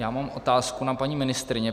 Já mám otázku na paní ministryni.